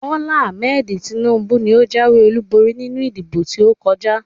Bola Ahmed Tinubu ni ó jáwé olúborí nínú ìdìbò tí ó kọjá